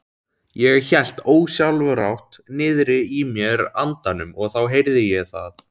Ég hélt ósjálfrátt niðri í mér andanum og þá heyrði ég það.